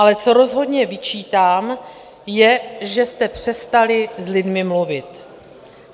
Ale co rozhodně vyčítám, je, že jste přestali s lidmi mluvit.